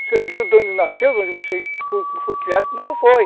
Você não viu de onde nasceu, de onde você foi criado, como não foi.